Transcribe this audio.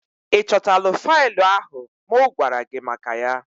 Ị chọtala faịlụ ahụ mụ gwara gị maka ya?